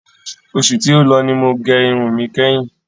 Oṣù tí ó lọ ni mo gẹ irun mi kẹ́hin.